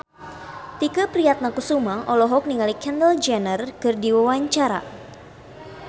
Tike Priatnakusuma olohok ningali Kendall Jenner keur diwawancara